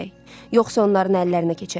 yoxsa onların əllərinə keçərik.